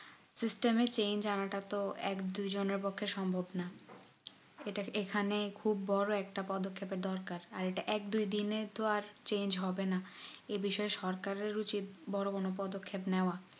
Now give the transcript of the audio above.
system এ change আনাটা তো এক দুই জন এর পক্ষে সম্ভব না ইটা এখানে বড়ো একটা পদ্দক্ষেপ দরকার আর ইটা এক দুই দিন এ তো আর change হবেনা এ বিষয়ে সরকারের উচিত বড়ো কোনো পদক্ষেপ নেওয়া